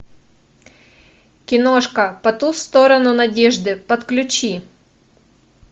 киношка по ту сторону надежды подключи